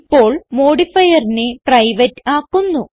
ഇപ്പോൾ modifierനെ പ്രൈവേറ്റ് ആക്കുന്നു